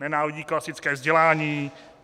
Nenávidí klasické vzdělání.